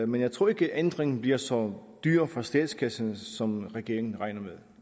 men jeg tror ikke at ændringen bliver så dyr for statskassen som regeringen regner